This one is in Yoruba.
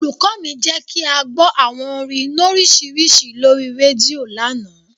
Olùkọ́ mi jẹ́ kí a gbọ́ àwọn orin nọ́síìrì lórí rédíò lánàá.